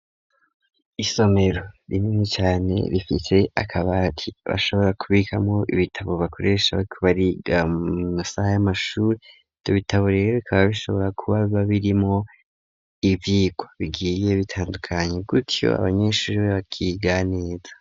Isomero rinini cane rifite akabati bashobora kubikamwo ibitabo bakoreshabo kibariga mmasaha y'amashure tubitabo rero kaba bishobora kuba babirimo ibikwa bigiye bitandukanye gutyo abanyeshure bo bakiga neza.